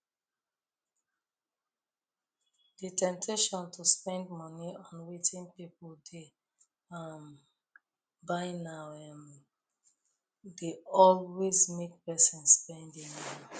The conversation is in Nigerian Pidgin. di temptation to spend money on wetin people dey um buy now um dey always make person spend anyhow